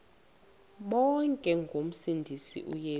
bonke ngomsindisi uyesu